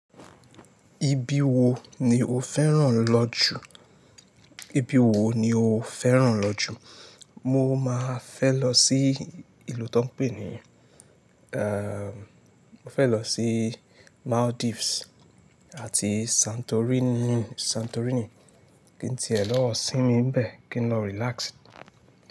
Ibi wo ni o fẹ́ràn lọ jù? Ibi wo ni o fẹ́ràn lọ jù? Mo máa fẹ́ lọ sí ìlú tó ń pè ní à, mo fẹ́ lọ sí Maldives àti Santorini, Santorini. Kí n ti ẹ lọ́ sinmi ńbẹ kí n lọ relax.